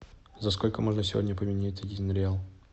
за сколько можно сегодня поменять один реал